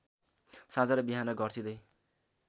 साँझ र बिहान घर्सिंदै